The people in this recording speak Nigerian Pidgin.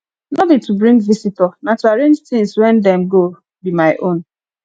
no be to bring visitor na to arrange things wen dem go be my own